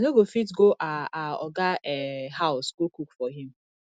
i no go fit go our our oga um house go cook for him